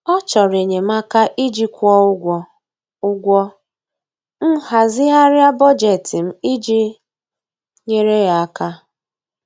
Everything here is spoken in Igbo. Ọ chọrọ enyemaka iji kwụọ ụgwọ, ụgwọ, m hazigharịa bọjetị m iji nyere ya aka.